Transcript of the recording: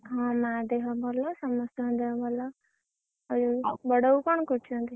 ହଁ ମା ଦେହ ଭଲ ସମସ୍ତଂକ ଦେହ ଭଲ।